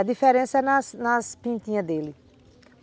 A diferença é nas nas pintinhas dele.